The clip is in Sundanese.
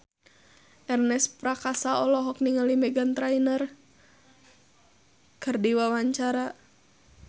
Ernest Prakasa olohok ningali Meghan Trainor keur diwawancara